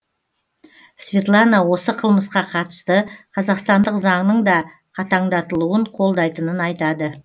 светлана осы қылмысқа қатысты қазақстандық заңның да қатаңдатылуын қолдайтынын айтады